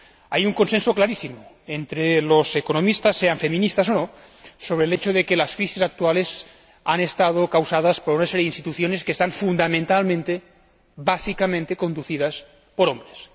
Hay un consenso clarísimo entre los economistas, sean feministas o no, sobre el hecho de que las crisis actuales han estado causadas por una serie de instituciones que están fundamentalmente, básicamente, conducidas por hombres.